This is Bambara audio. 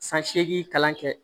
San seegin kalan kɛ